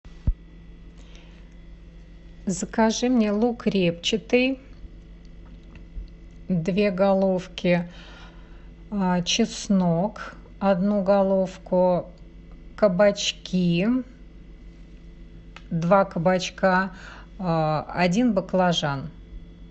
закажи мне лук репчатый две головки чеснок одну головку кабачки два кабачка один баклажан